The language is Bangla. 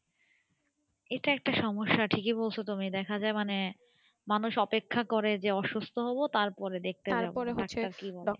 এটা একটা সমস্যা ঠিকই বলছো তুমি দেখা যাই মানে মানুষ অপেক্ষা করে যে অসুস্থ হব তারপরে দেখতে যাবো